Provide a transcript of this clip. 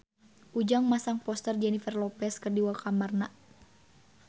Ujang masang poster Jennifer Lopez di kamarna